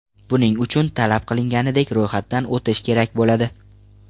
Buning uchun, talab qilinganidek ro‘yxatdan o‘tish kerak bo‘ladi.